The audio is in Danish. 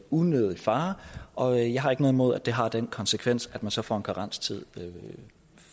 unødig fare og jeg har ikke noget imod at det har den konsekvens at man så får en karenstid